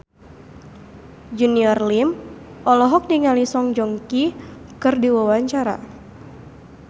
Junior Liem olohok ningali Song Joong Ki keur diwawancara